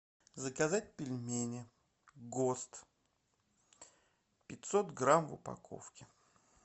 заказать пельмени гост пятьсот грамм в упаковке